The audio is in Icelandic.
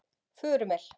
Furumel